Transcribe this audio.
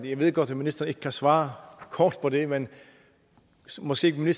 jeg ved godt at ministeren ikke kan svare kort på det men måske